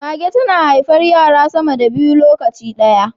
Mage tana haifar yara sama da biyu lokaci daya